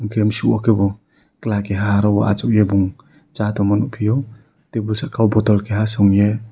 khem chuma kebo khela keha asogei cha tongma nogphio tebol saka o bottle keha chamye.